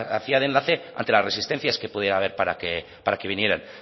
hacía de enlace ante las resistencias que pudiera haber para que vinieran